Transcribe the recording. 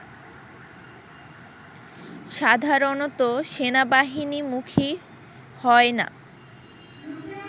সাধারণত সেনাবাহিনীমুখী হয় না